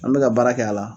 An bɛ ka baara kɛ a la